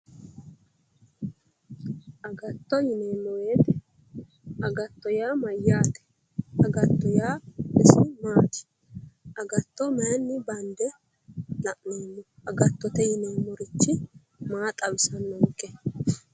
Agatto yineemmo woyte agatto yaa mayyaate agatto yaa isi maati agatto mayinni bande la'nanni agattote yineemmorichi maa xawisannonke